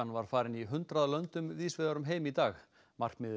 var farin í hundrað löndum víðs vegar um heim í dag markmiðið